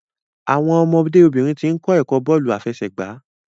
Àwọn ọmọdé obìnrin tín kò ẹkọ bóòlù afẹsẹgba